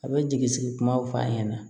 A bɛ jigi sigi kumaw f'a ɲɛna